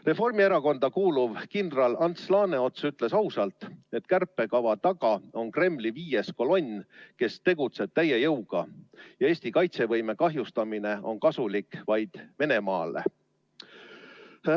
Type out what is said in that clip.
Reformierakonda kuuluv kindral Ants Laaneots ütles ausalt, et kärpekava taga on Kremli viies kolonn, kes tegutseb täie jõuga, ja Eesti kaitsevõime kahjustamine on kasulik vaid Venemaale.